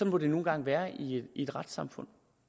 må det nu engang være i et retssamfund